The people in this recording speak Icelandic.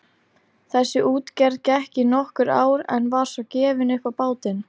Þessi útgerð gekk í nokkur ár en var svo gefin upp á bátinn.